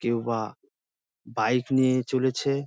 কেউ বা বাইক নিয়ে চলেছে ।